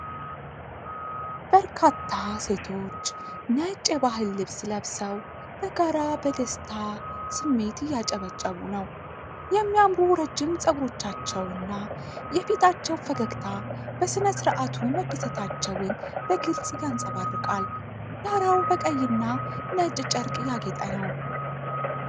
በርካታ ሴቶች ነጭ የባህል ልብስ ለብሰው በጋራ በደስታ ስሜት እየጨበጨቡ ነው። የሚያምሩ ረጅም ፀጉሮቻቸውና የፊታቸው ፈገግታ በሥነ ሥርዓቱ መደሰታቸውን በግልጽ ያንጸባርቃል። ዳራው በቀይና ነጭ ጨርቅ ያጌጠ ነው።